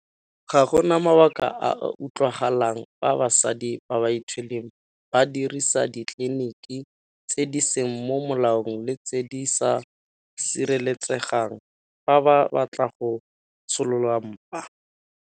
Ga go na mabaka a a utlwagalang fa basadi ba ba ithweleng ba dirisa ditleliniki tse di seng mo molaong le tse di sa sireletsegang fa ba batla go tsholola mpa.